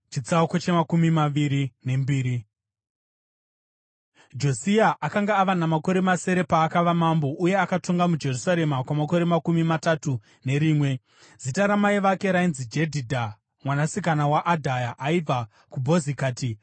Josia akanga ava namakore masere paakava mambo, uye akatonga muJerusarema kwamakore makumi matatu nerimwe. Zita ramai vake rainzi Jedhidha mwanasikana waAdhaya; aibva kuBhozikati.